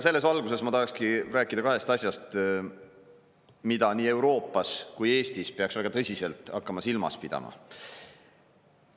Selles valguses ma tahakski rääkida kahest asjast, mida peaks nii Euroopas kui ka Eestis hakkama väga tõsiselt silmas pidama.